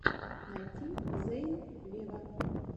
найти зейн вево